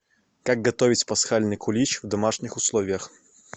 как готовить пасхальный кулич в домашних условиях